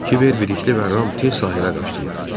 Kiber, Bilikli və Ram tez sahilə qaçdılar.